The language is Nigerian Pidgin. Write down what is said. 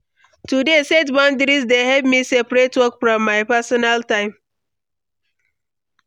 To dey set boundaries dey help me separate work from my personal time.